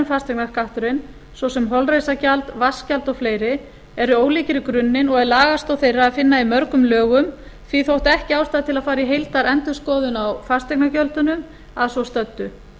fasteignaskatturinn svo sem holræsagjald vatnsgjald og fleiri eru ólíkir í grunninn og er lagastoð þeirra að finna í mörgum lögum því þótti ekki ástæða til að fara í heildarendurskoðun á fasteigngjöldunum að svo stöddu